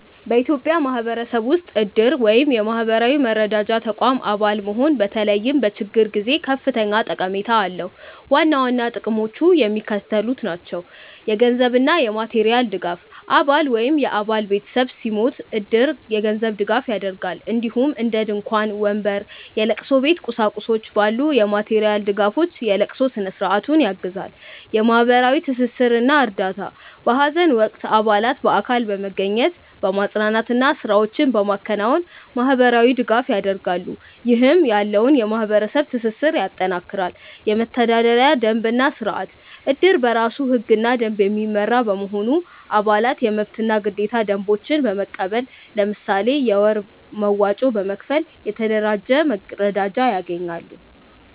በኢትዮጵያ ማህበረሰብ ውስጥ እድር (የማህበራዊ መረዳጃ ተቋም) አባል መሆን በተለይም በችግር ጊዜ ከፍተኛ ጠቀሜታ አለው። ዋና ዋና ጥቅሞቹ የሚከተሉት ናቸው - የገንዘብ እና የማቴሪያል ድጋፍ: አባል ወይም የአባል ቤተሰብ ሲሞት እድር የገንዘብ ድጋፍ ያደርጋል፣ እንዲሁም እንደ ድንኳን፣ ወንበር፣ የለቅሶ ቤት ቁሳቁሶች ባሉ የማቴሪያል ድጋፎች የለቅሶ ስነ-ስርዓቱን ያግዛል። የማህበራዊ ትስስር እና እርዳታ: በሀዘን ወቅት አባላት በአካል በመገኘት፣ በማፅናናት እና ስራዎችን በማከናወን ማህበራዊ ድጋፍ ያደርጋሉ፣ ይህም ያለውን የማህበረሰብ ትስስር ያጠናክራል። የመተዳደሪያ ደንብ እና ስርአት: እድር በራሱ ህግና ደንብ የሚመራ በመሆኑ፣ አባላት የመብትና ግዴታ ደንቦችን በመቀበል፣ ለምሳሌ የወር መዋጮ በመክፈል፣ የተደራጀ መረዳጃ ያገኛሉ።